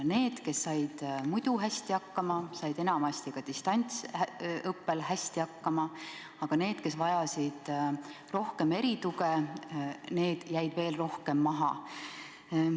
Need, kes said muidu hästi hakkama, said enamasti ka distantsõppel hästi hakkama, aga need, kes vajasid rohkem erituge, jäid senisest veelgi rohkem maha.